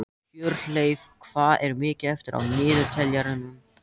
Hjörleif, hvað er mikið eftir af niðurteljaranum?